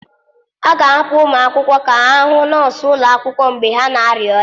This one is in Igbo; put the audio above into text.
A ga-ahapụ ụmụ akwụkwọ ka ha hụ nọọsụ ụlọ akwụkwọ mgbe ha na-arịa ọrịa.